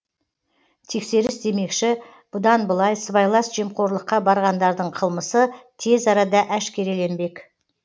тексеріс демекші бұдан былай сыбайлас жемқорлыққа барғандардың қылмысы тез арада әшкереленбек